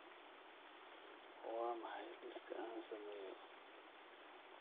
waa maxay liiska aan sameeyo